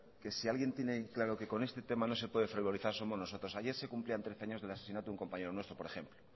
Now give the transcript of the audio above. que si alguien tiene claro que con este tema no se puede frivolizar somos nosotros ayer se cumplían trece años del asesinato a un compañero nuestro por ejemplo